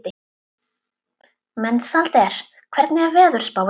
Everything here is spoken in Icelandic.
Mensalder, hvernig er veðurspáin?